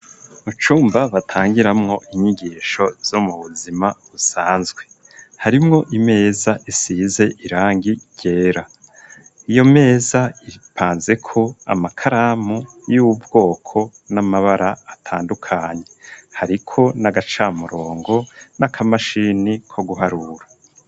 Mu cumba batangiramwo inyigisho zo mu buzima usanzwe .Harimwo imeza isize irangi yera iyo meza iripanze ko amakaramu y'ubwoko n'amabara atandukanye hariko n'agacamurongo n'akamashini ko guharura